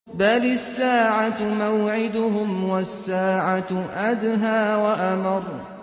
بَلِ السَّاعَةُ مَوْعِدُهُمْ وَالسَّاعَةُ أَدْهَىٰ وَأَمَرُّ